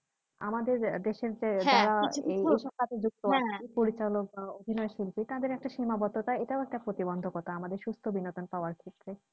আমাদের দেশের যে যারা এই পরিচালক বা অভিনয় শিল্পী একটা সীমাবদ্ধকতা এটাও একটা প্রতিবন্ধকতা আমাদের সুস্থ বিনোদন পাওয়ার ক্ষেত্রে।